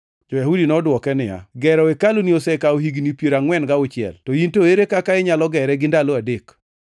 Jo-Yahudi nodwoke niya, “Gero hekaluni osekawo higni piero angʼwen gauchiel, to in to ere kaka inyalo gere gi ndalo adek?”